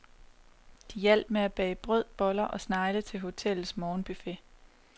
De hjalp med at bage brød, boller og snegle til hotellets morgenbuffet.